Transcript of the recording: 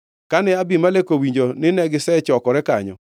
Kane Abimelek owinjo nine gisechokore kanyo,